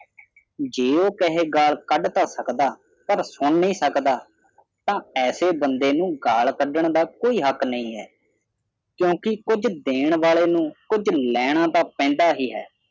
ਜੇ ਉਹ ਕਹੇ ਗਾਲ ਕੱਢ ਤਾਂ ਸਕਦਾ ਪਰ ਸੁਣ ਨਹੀਂ ਸਕਦਾ ਤਾਂ ਐਸੇ ਬੰਦੇ ਨੂੰ ਗਾਲ ਕੱਢਣ ਦਾ ਕੋਈ ਹੱਕ ਨਹੀਂ ਹੈ ਕਿਉਂਕਿ ਕੁਝ ਦੇਣ ਵਾਲੇ ਨੂੰ ਕੁਝ ਲੈਣਾ ਤੇ ਪੈਂਦਾ ਹੀ ਹੈ।